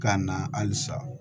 K'a na halisa